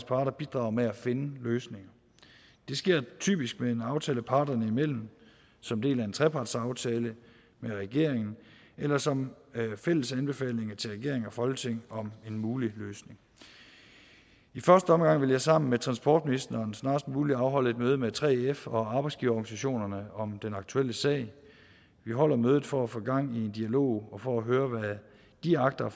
parter bidrager med at finde løsninger det sker typisk med en aftale parterne imellem som del af en trepartsaftale med regeringen eller som fælles anbefalinger til regering og folketing om en mulig løsning i første omgang vil jeg sammen med transportministeren snarest muligt afholde et møde med 3f og arbejdsgiverorganisationerne om den aktuelle sag vi holder mødet for at få gang i en dialog og for at høre hvad de agter